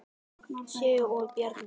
Sigrún og Bjarni.